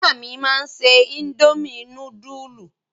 Ìyá mi máa se indomie núdúlù.